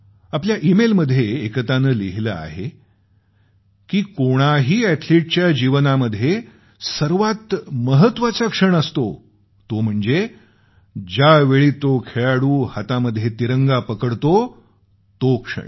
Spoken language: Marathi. आपल्या ईमेल मध्ये एकतानं लिहिलं आहे की कोणाही अॅथलीटच्या जीवनामध्ये सर्वात महत्वाचा क्षण असतो तो म्हणजे ज्यावेळी तो खेळाडू हातामध्ये तिरंगा पकडतो तो क्षण